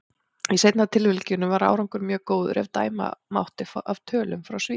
Í seinna tilvikinu var árangur mjög góður, ef dæma mátti af tölum frá Svíþjóð.